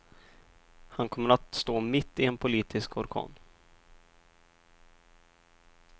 Han kommer att stå mitt i en politisk orkan.